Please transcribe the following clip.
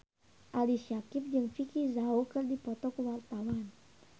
Ali Syakieb jeung Vicki Zao keur dipoto ku wartawan